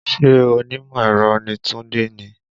Ṣé onímọ̀ ẹ̀rọ ni Tunde ni?